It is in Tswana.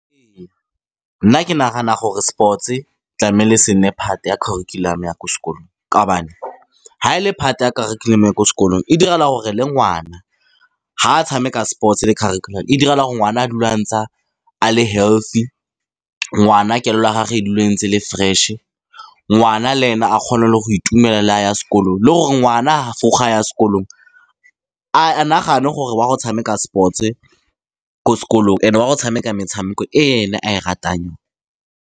Ee, nna ke nagana gore sports-e tlamehile se nne part-e ya curriculum-o ya ko sekolong, ka gobane fa e le part-e ya kharikhulamo ya ko sekolong, e direla gore le ngwana, fa a tshameka sports-e, le kharikhulamo e direla gore ngwana a dule a ntse a le healthy. Ngwana kelello ya gagwe e dule e ntse e le fresh-e, ngwana le ene a kgone le go itumela le ga a ya sekolo, le gore ngwana vrug fa ya sekolong a nagane gore wa go tshameka sports-e ko sekolong, and-e wa go tshameka metshameko e ene a e ratang.